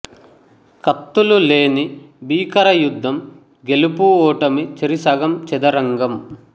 కత్తులు లేని భీకర యుద్ధం గెలుపూ ఓటమి చెరిసగం చదరంగం